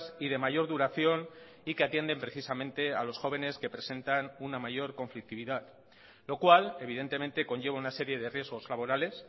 y de mayor duración y que atienden precisamente a los jóvenes que presentan una mayor conflictividad lo cual evidentemente conlleva una serie de riesgos laborales